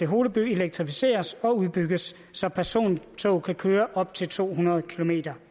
holeby elektrificeres og udbygges så persontog kan køre op til to hundrede kilometer